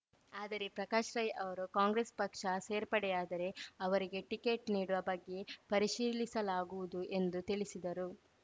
ಆದರೆ ಪ್ರಕಾಶ್‌ ರೈ ಅವರು ಕಾಂಗ್ರೆಸ್‌ ಪಕ್ಷ ಸೇರ್ಪಡೆಯಾದರೆ ಅವರಿಗೆ ಟಿಕೆಟ್‌ ನೀಡುವ ಬಗ್ಗೆ ಪರಿಶೀಲಿಸಲಾಗುವುದು ಎಂದು ತಿಳಿಸಿದರು